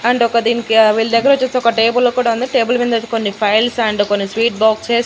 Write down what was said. and ఒక దీనికి వీళ్ల దగ్గర వచ్చేసి ఒక టేబుల్ కూడా ఉంది టేబుల్ మీద వచ్చేసి కొన్ని ఫైల్స్ అండ్ కొన్ని స్వీట్ బాక్సస్ --